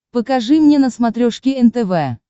покажи мне на смотрешке нтв